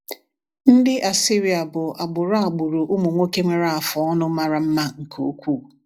Ndị Assyria bụ agbụrụ agbụrụ ụmụ nwoke nwere afụ ọnụ mara mma nke ukwuu.